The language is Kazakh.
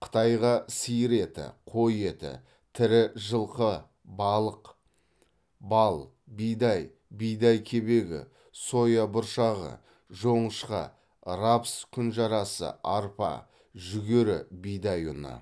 қытайға сиыр еті қой еті тірі жылқы балық бал бидай бидай кебегі соя бұршағы жоңышқа рапс күнжарасы арпа жүгері бидай ұны